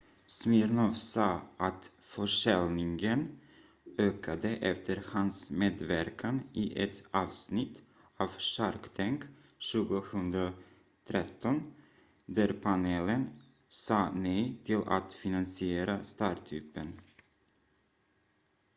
smirnoff sa att försäljningen ökade efter hans medverkan i ett avsnitt av shark tank 2013 där panelen sa nej till att finansiera startupen